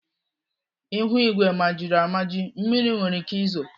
Ihuigwe majiri amaji. Mmiri nwere ike izo.